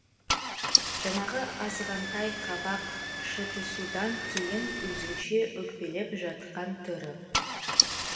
жаңағы азғантай қабақ шытысудан кейін өзінше өкпелеп жатқан түрі